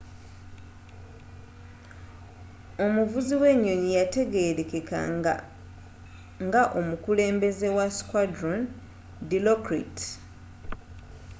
omuvuzi wenyonyi yategerekeka nga omukulembeze wa squadron dilokrit